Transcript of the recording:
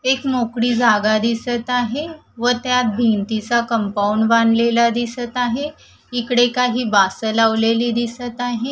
एक मोकळी जागा दिसत आहे व त्यात भिंतीचा कंपाउंड बांधलेला दिसत आहे इकडे काही वासं लावलेली दिसत आहे.